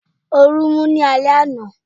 Orun mú ní alé àna